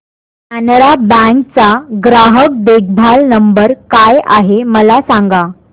Canara bank चा ग्राहक देखभाल नंबर काय आहे मला सांगा